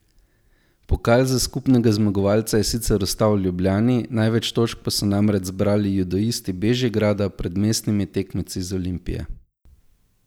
Pokal za skupnega zmagovalca je sicer ostal v Ljubljani, največ točk so namreč zbrali judoisti Bežigrada pred mestnimi tekmeci iz Olimpije.